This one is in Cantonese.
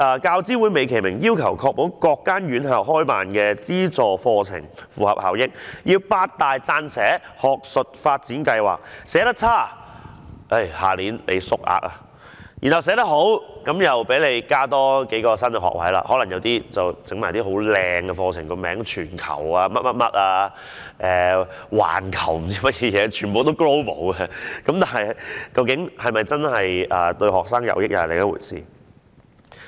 教資會美其名要確保各間院校開辦的資助課程符合效益，要求八大撰寫學術發展計劃，寫得差的話，下一年度便會縮減名額；如果寫得好，便可讓院校多加數個新學位，例如可能開辦一些冠以"全球"或"環球"等漂亮字眼的課程名稱，但究竟對學生是否真的得益則是另一回事。